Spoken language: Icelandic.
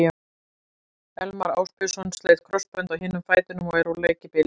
Elmar Ásbjörnsson sleit krossbönd á hinum fætinum og er úr leik í bili.